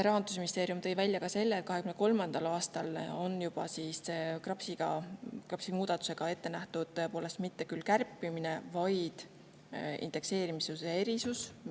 Rahandusministeerium tõi välja ka selle, et juba 2023. aastal on KRAPS‑i muudatusega ette nähtud tõepoolest mitte küll kärpimine, vaid indekseerimise erisus.